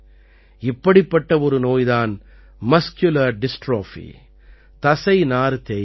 இப்படிப்பட்ட ஒரு நோய் தான் மஸ்குலர் டிஸ்ட்ரோபி தசைநார் தேய்வு